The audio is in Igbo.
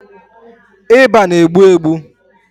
ịba na-egbu egbu.